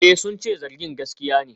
Eh, sun ce zargin gaskiya ne.